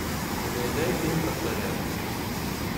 гайдай фильм про царя